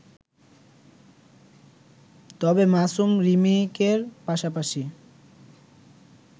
তবে মাসুম রিমেকের পাশাপাশি